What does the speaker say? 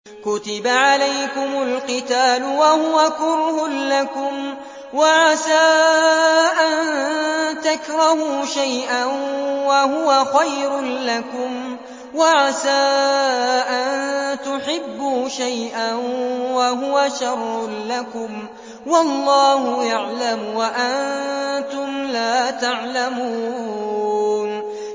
كُتِبَ عَلَيْكُمُ الْقِتَالُ وَهُوَ كُرْهٌ لَّكُمْ ۖ وَعَسَىٰ أَن تَكْرَهُوا شَيْئًا وَهُوَ خَيْرٌ لَّكُمْ ۖ وَعَسَىٰ أَن تُحِبُّوا شَيْئًا وَهُوَ شَرٌّ لَّكُمْ ۗ وَاللَّهُ يَعْلَمُ وَأَنتُمْ لَا تَعْلَمُونَ